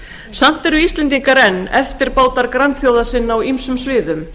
samt eru íslendingar enn eftirbátar grannþjóða sinna á ýmsum sviðum